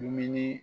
Dumuni